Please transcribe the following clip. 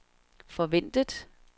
forventet